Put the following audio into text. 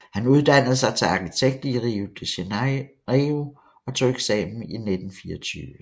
Han uddannede sig til arkitekt i Rio de Janeiro og tog eksamen i 1924